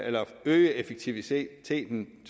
øge effektiviteten